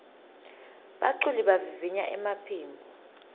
baculi bavivinya emaphimbo